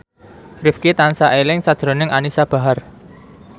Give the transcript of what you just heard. Rifqi tansah eling sakjroning Anisa Bahar